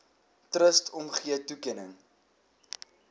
trust omgee toekenning